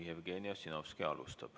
Jevgeni Ossinovski alustab.